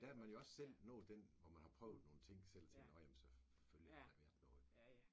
Der er man jo også selv nået den hvor man har prøvet nogle ting selv og tænker nåh ja men selvfølgelig har der været noget